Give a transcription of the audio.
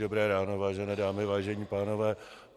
Dobré ráno, vážené dámy, vážení pánové.